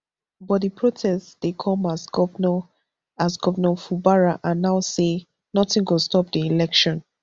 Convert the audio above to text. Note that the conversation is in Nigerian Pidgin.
but di protest dey come as govnor as govnor fubara announce say notin go stop di election